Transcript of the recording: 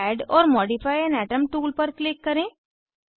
add or modify an atom tool पर click करें